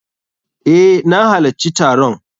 Eh, na halacci taron.